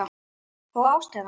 Og ástæðan?